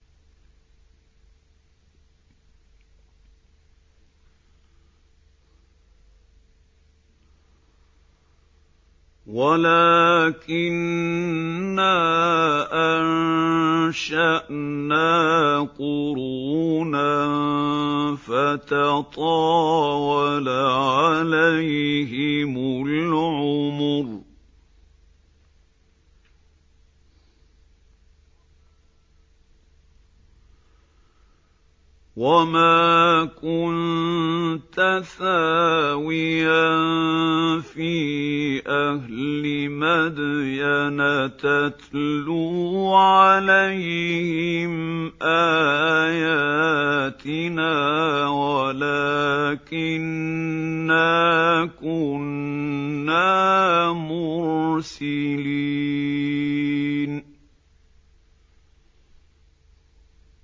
وَلَٰكِنَّا أَنشَأْنَا قُرُونًا فَتَطَاوَلَ عَلَيْهِمُ الْعُمُرُ ۚ وَمَا كُنتَ ثَاوِيًا فِي أَهْلِ مَدْيَنَ تَتْلُو عَلَيْهِمْ آيَاتِنَا وَلَٰكِنَّا كُنَّا مُرْسِلِينَ